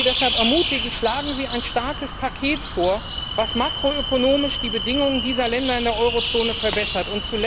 Ich würde Sie deshalb ermutigen, schlagen Sie ein starkes Paket vor, das makroökonomisch die Bedingungen dieser Länder in der Eurozone verbessert.